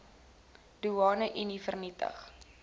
doeane unie vernietig